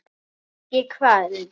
Ekki köld.